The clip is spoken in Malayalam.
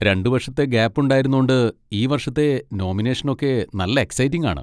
രണ്ട് വർഷത്തെ ഗാപ്പ് ഉണ്ടായിരുന്നോണ്ട് ഈ വർഷത്തെ നോമിനേഷനൊക്കെ നല്ല എക്സൈറ്റിങ് ആണ്.